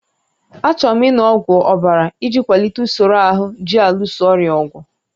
Achọrọ m ịṅụ ọgwụ ọbara iji kwalite usoro ahụ ji alụso ọrịa ọgụ